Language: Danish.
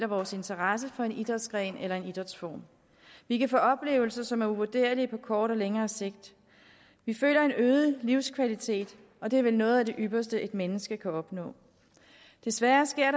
vores interesse for en idrætsgren eller en idrætsform vi kan få oplevelser som er uvurderlige på kort og længere sigt vi føler en øget livskvalitet og det er vel noget af det ypperste et menneske kan opnå desværre sker